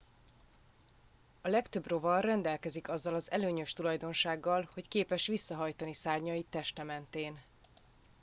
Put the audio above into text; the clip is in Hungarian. a legtöbb rovar rendelkezik azzal az előnyös tulajdonsággal hogy képes visszahajtani szárnyait teste mentén